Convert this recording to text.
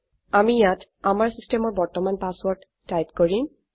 আমি ইয়াত আমাৰ চিচটেমৰ বৰ্তমান পাছৱৰ্ৰদ টাইপ কৰিম